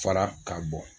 Fara ka bɔ